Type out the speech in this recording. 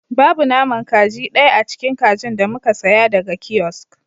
Babu naman kaji daya a cikin kajin da muka saya daga kiosk